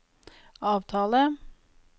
avtale